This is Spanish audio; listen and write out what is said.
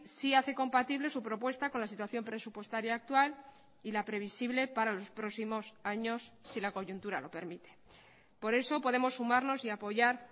sí hace compatible su propuesta con la situación presupuestaria actual y la previsible para los próximos años si la coyuntura lo permite por eso podemos sumarnos y apoyar